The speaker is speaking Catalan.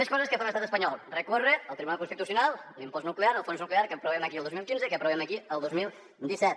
més coses que fa l’estat espanyol recórrer al tribunal constitucional l’impost nuclear el fons nuclear que aprovem aquí el dos mil quinze i que aprovem aquí el disset